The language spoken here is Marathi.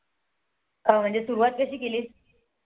अं म्हणजे सुरवात कशी केले.